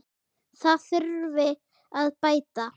Það þurfi að bæta.